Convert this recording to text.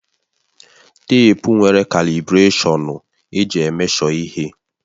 Teepu nwere kalibụrashọnụ eji emeshọ ihe